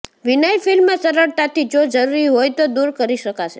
vinyl film સરળતાથી જો જરૂરી હોય તો દૂર કરી શકાશે